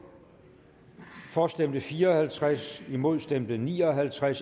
for stemte fire og halvtreds imod stemte ni og halvtreds